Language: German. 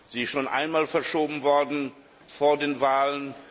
Sie ist schon einmal verschoben worden vor den Wahlen.